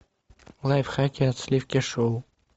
лайфхаки от сливки шоу